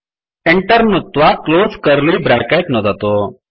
Enter नुत्त्वा close curly bracket नुदतु